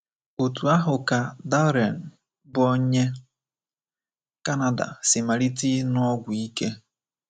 Otú ahụ ka Darren, bụ́ onye Canada, si malite ịṅụ ọgwụ ike.